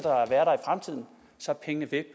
sig ikke at